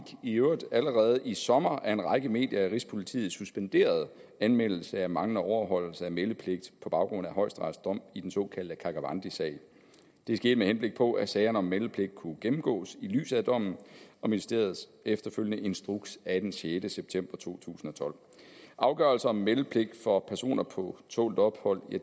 i øvrigt allerede i sommer af en række medier at rigspolitiet suspenderede anmeldelse af manglende overholdelse af meldepligt på baggrund af højesterets dom i den såkaldte karkavandisag det skete med henblik på at sagerne om meldepligt kunne gennemgås i lyset af dommen og ministeriets efterfølgende instruks af sjette september to tusind og tolv afgørelse om meldepligt for personer på tålt ophold